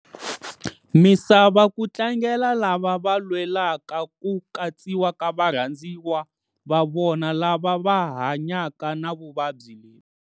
Misava ku tlangela lava va lwelaka ku katsiwa ka varhandziwa va vona lava va hanya ka na vuvabyi lebyi.